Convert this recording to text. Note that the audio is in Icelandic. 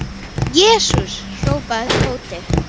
Jesús! hrópaði Tóti.